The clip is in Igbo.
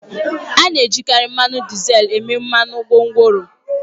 A na-ejikarị mmanụ dizel eme mmanụ gwongworo